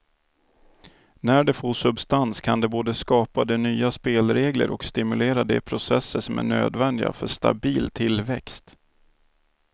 När det får substans kan det både skapa de nya spelregler och stimulera de processer som är nödvändiga för stabil tillväxt.